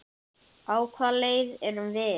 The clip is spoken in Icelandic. Á hvaða leið erum við?